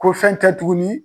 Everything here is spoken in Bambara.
Ko fɛn tɛ tuguni.